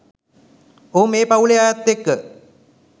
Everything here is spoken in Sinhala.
ඔහු මේ පව්ලේ අයත් එක්ක